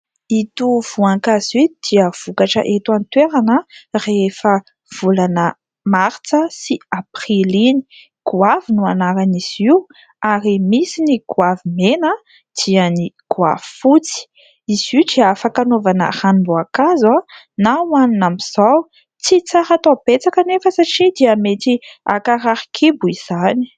Ito voankazo ito dia vokatra eto any toerana rehefa volana martsa sy aprily iny. Goavy no anaran' izy io ary misy ny goavy mena dia ny goavy fotsy. Izy io dia afaka anaovana ranom-boankazo na hohanina amin'zao ; tsy tsara atao betsaka anefa satria dia mety hankarary kibo izany.